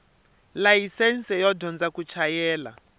layisense yo dyondza ku chayela